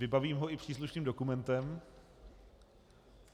Vybavím ho i příslušným dokumentem.